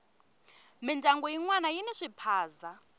mindyangu yinwana yini swiphaza